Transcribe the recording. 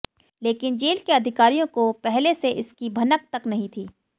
लेकिन जेल के अधिकारियों को पहले से इसकी भनक तक नहीं थी